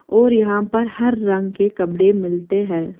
और यहां पर हर रंग के कबडे मिलते हैं।